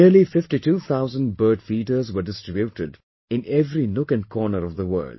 Nearly 52 thousand bird feeders were distributed in every nook and corner of the world